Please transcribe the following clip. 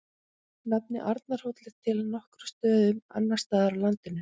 Nafnið Arnarhóll er til á nokkrum stöðum annars staðar á landinu.